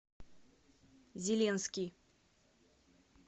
зеленский